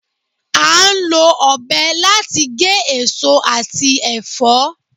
À ń lọ ọ̀bẹ láti gé eso ati ẹfọ